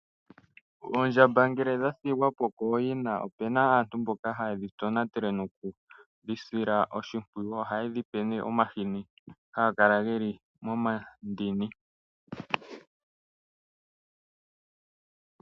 Oondjamba ngele dha thigwa po kooyina opena aantu mboka haye dhi tonatele nokudhi sila oshimpwiyu. Ohaye dhi pe nee omahini haga kala geli momandini.